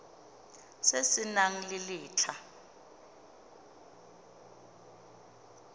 se se nang le letlha